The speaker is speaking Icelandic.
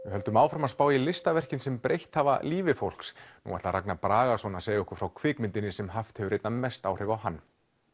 höldum áfram að spá í listaverkin sem breytt hafa lífi fólks nú ætlar Ragnar Bragason að segja okkur frá kvikmyndinni sem haft hefur einna mest áhrif á hann